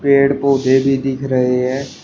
पेड़ पौधे भी दिख रहे हैं।